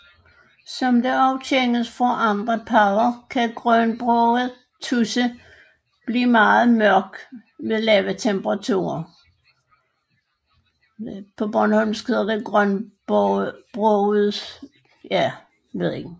Som det også kendes fra andre padder kan grønbroget tudse blive meget mørk ved lave temperaturer